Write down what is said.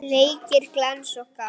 Leikir glens og gaman.